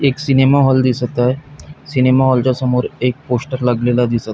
एक cinema hall दिसत आहे सिनेमा हॉलच्या समोर एक पोस्टर लागलेला दिसत --